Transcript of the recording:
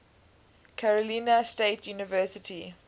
carolina state university